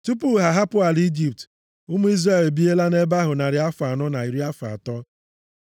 Tupu ha ahapụ ala Ijipt, ụmụ Izrel ebiela nʼebe ahụ narị afọ anọ na iri afọ atọ.